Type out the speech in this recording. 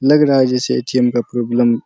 लग रहा है जैसे ए.टी.एम. का प्रॉब्लम --